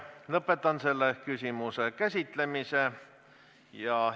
Lõpetan selle küsimuse käsitlemise.